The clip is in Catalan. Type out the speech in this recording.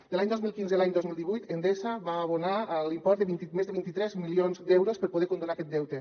de l’any dos mil quinze a l’any dos mil divuit endesa va abonar l’import de més de vint tres milions d’euros per poder condonar aquest deute